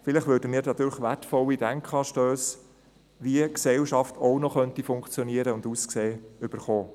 Vielleicht erhalten wir dadurch wertvolle Denkanstösse, wie eine Gesellschaft auch noch funktionieren und aussehen könnte.